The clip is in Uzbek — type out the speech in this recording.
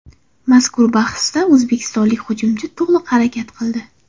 Mazkur bahsda o‘zbekistonlik hujumchi to‘liq harakat qildi.